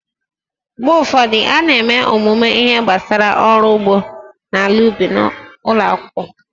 Mgbe ụfọdụ, a na-eme ọmụmụ ihe gbasara ọrụ ugbo na ala ubi ụlọ akwụkwọ